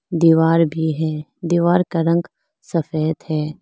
दीवार भी है दीवार का रंग सफेद है।